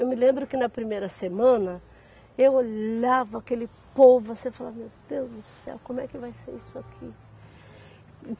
Eu me lembro que, na primeira semana, eu olhava aquele povo assim e falava, meu Deus do céu, como é que vai ser isso aqui?